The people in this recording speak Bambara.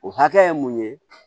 O hakɛ ye mun ye